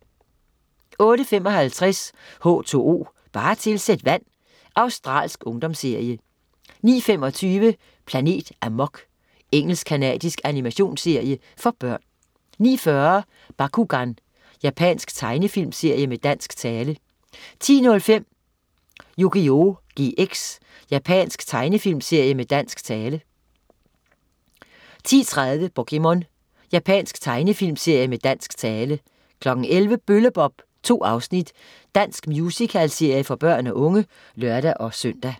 08.55 H2O, bare tilsæt vand. Australsk ungdomsserie 09.25 Planet Amok. Engelsk-canadisk animationsserie for børn 09.40 Bakugan. Japansk tegnefilmserie med dansk tale 10.05 Yugioh GX. Japansk tegnefilmserie med dansk tale 10.30 POKéMON. Japansk tegnefilmserie med dansk tale 11.00 Bølle-Bob. 2 afsnit. dansk musicalserie for børn og unge (lør-søn)